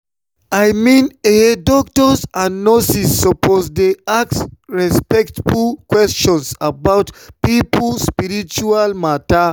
i mean eh doctors and nurses suppose dey ask respectful questions about people spiritual matter.